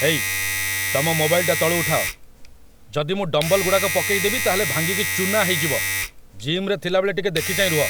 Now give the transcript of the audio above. ହେଇ, ତମ ମୋବାଇଲଟା ତଳୁ ଉଠାଅ, ଯଦି ମୁଁ ଡମ୍ବଲ୍‌ଗୁଡ଼ା ପକେଇଦେବି ତା'ହେଲେ ଭାଙ୍ଗିକି ଚୂନା ହେଇଯିବ, ଜିମ୍‌ରେ ଥିଲାବେଳେ ଟିକେ ଦେଖି ଚାହିଁ ରୁହ ।